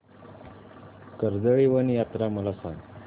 कर्दळीवन यात्रा मला सांग